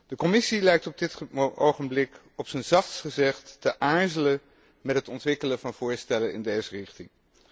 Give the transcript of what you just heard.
De Commissie lijkt op dit ogenblik, op zijn zachtst gezegd, te aarzelen met het ontwikkelen van voorstellen in deze richting.